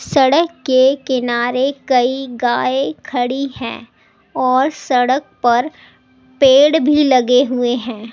सड़क के किनारे कई गाय खड़ी हैँ और सड़क पर पेड़ भी लगे हुए हैं।